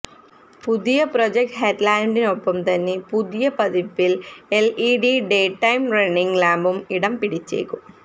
പുതിയ പ്രൊജക്ട് ഹെഡ്ലാമ്പിനൊപ്പം തന്നെ പുതിയ പതിപ്പില് എല്ഇഡി ഡേടൈം റണ്ണിങ് ലാമ്പും ഇടം പിടിച്ചേക്കും